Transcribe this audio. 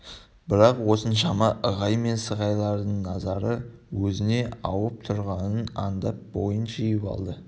бірақ осыншама ығай мен сығайлардың назары өзіне ауып тұрғанын аңдап бойын жиып алды